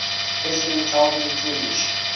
president calvin coolidge